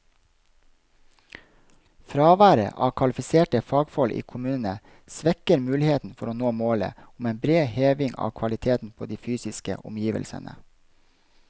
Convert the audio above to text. Fraværet av kvalifiserte fagfolk i kommunene svekker muligheten for å nå målet om en bred heving av kvaliteten på de fysiske omgivelsene.